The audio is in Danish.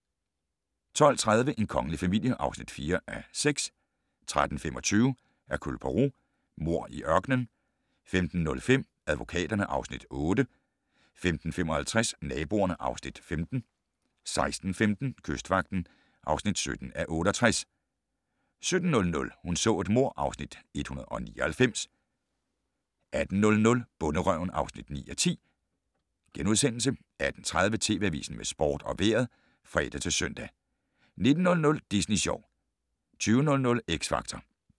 12:30: En kongelig familie (4:6) 13:25: Hercule Poirot: Mord i ørkenen 15:05: Advokaterne (Afs. 8) 15:55: Naboerne (Afs. 15) 16:15: Kystvagten (17:68) 17:00: Hun så et mord (Afs. 199) 18:00: Bonderøven (9:10)* 18:30: TV Avisen med sport og vejret (fre-søn) 19:00: Disney Sjov 20:00: X Factor